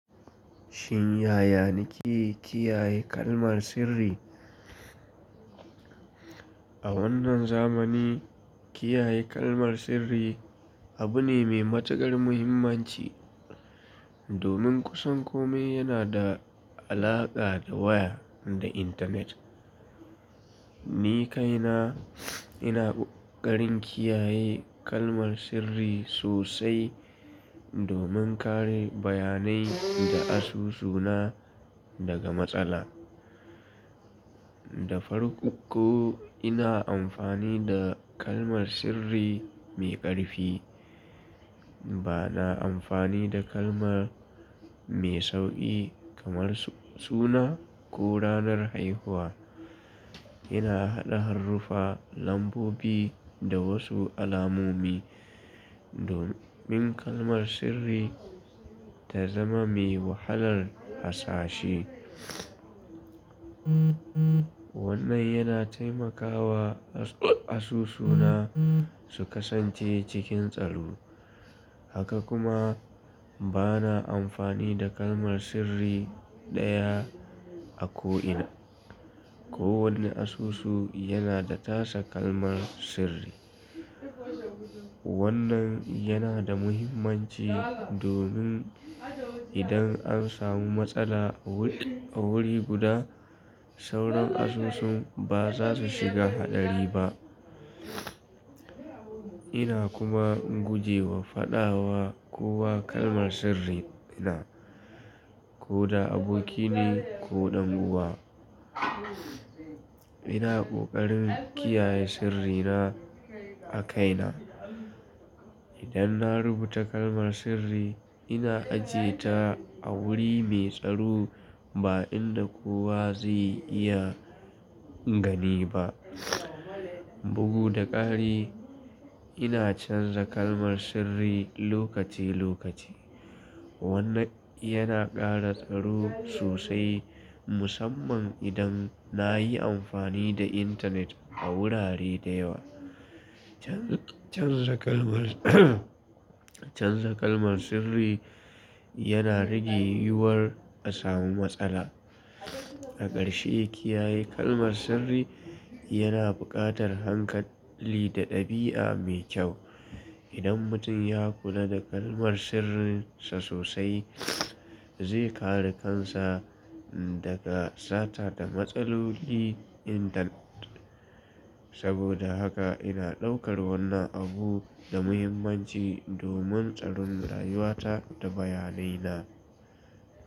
Shin ya yanike kiyaye kalmar sirri? A wannan zamani, kiyaye kalmar sirri abu ne mai matukar muhimmanci, domin kusan kome yana da alaƙa da waya da intanet. Ni kaina, ina ƙoƙarin kiyaye kalmar sirri sosai domin kare bayanai da asusuna daga matsala. Da farko, ina amfani da kalmar sirri mai ƙarfi. Bana amfani da kalmar mai sauƙi kamar suna ko ranar haihuwa. Ina haɗa haruffa, lambobi da wasu alamomi domin kalmar sirri ta zama mai wahalar hasashi. Wannan yana taimakawa asusuna su kasance cikin tsaro. Haka kuma bana amfani da kalmar sirri ɗaya a ko'ina. Ko wanne asusu yana da tasa kalmar sirri. Wannan yana da muhimmanci domin idan an samu matsala a wuri guda, sauran asusun ba za su shiga haɗari ba. Ina kuma guje wa faɗawa kowa kalmar sirrina, ko da abokine ko ɗan uwa. Ina ƙoƙarin kiyaye sirrina a kaina. Idan na rubuta kalmar sirri, ina ajiye ta a wuri mai tsaro ba inda kowa zai iya gani ba. Bugu da ƙari, ina canza kalmar sirri lokaci-lokaci. Wannan yana ƙara tsaro sosai musamman idan na yi amfani da intanet a wurare da yawa. Canza kalmar, canza kalmar sirri yana rage yiwuwar a samu matsala. A ƙarshe, kiyaye kalmar sirri yana buƙatar hankali da ɗabi'a mai kyau. Idan mutum ya kula da kalmar sirrinsa sosai, zai kare kansa daga sata da matsaloli intanet. Saboda haka ina ɗaukar wannan abu da muhimmanci domin tsarin rayuwata da bayanaina.